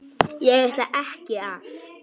Ég ætlaði ekki að.